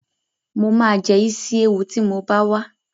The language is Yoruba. Mo ma jẹ́ Ísíéwu tí mo bá wá